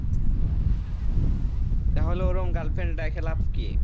তাহলে ওরম girlfriend রেখে লাভ কি?